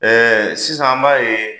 Ɛɛ sisan an b'a ye